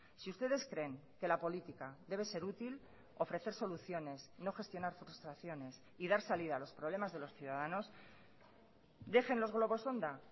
si ustedes creen que la política debe ser útil ofrecer soluciones no gestionar frustraciones y dar salida a los problemas de los ciudadanos dejen los globos sonda